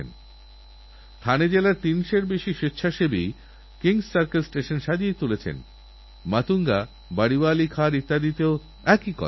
কিছুদিনআগে আমি সংবাদপত্রের এক নিবন্ধে পড়েছি যে এক ভদ্রমহিলা ভুয়ো এবং প্রতারণামূলকইমেলে প্রতারিত হয়ে এগারো লক্ষ টাকা হারিয়ে আত্মহত্যা করেছেন